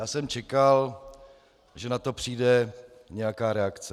Já jsem čekal, že na to přijde nějaká reakce.